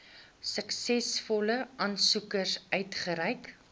suksesvolle aansoekers uitgereik